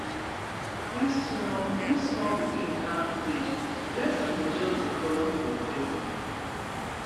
if small if small pikin plant seed blessing go just dey follow from heaven